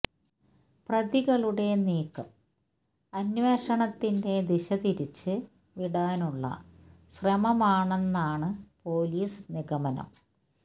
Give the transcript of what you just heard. പ്രതികളുടെ നീക്കം അന്വേഷണത്തിന്റെ ദിശ തിരിച്ച് വിടാനുള്ള ശ്രമമാണെന്നാണ് പോലീസ് നിഗമനം